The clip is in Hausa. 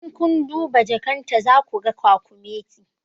In kun duba jakan ta za ku ga kwakumeti